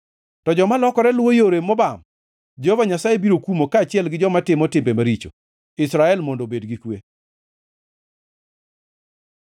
To joma lokore luwo yore mobam Jehova Nyasaye biro kumo kaachiel gi joma timo timbe maricho. Israel mondo obed gi kwe.